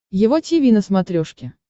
его тиви на смотрешке